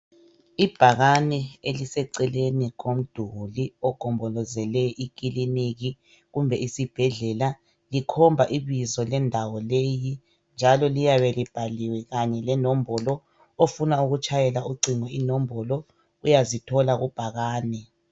Ibhakane eliseceleni komduli ogombolozele ikiliniki kumbe isibhedlela likhomba ibizo lendawo leyi njalo liyabe libhaliwe kanye lenombolo ,ofuna ukutshayela ucingo ,inombolo uyazithola kubhakane .